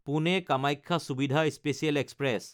পুনে–কামাখ্যা সুবিধা special express